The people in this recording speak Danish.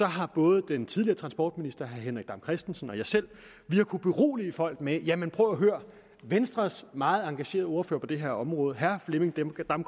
har både den tidligere transportminister herre henrik dam kristensen og jeg selv kunnet berolige folk med at venstres meget engagerede ordfører på det her område herre flemming damgaard